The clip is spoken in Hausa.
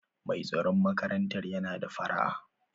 Mai tsaron makarantar yana da fara'a.